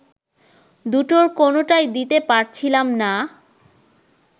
দুটোর কোনোটাই দিতে পারছিলাম না